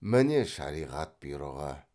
міне шариғат бұйрығы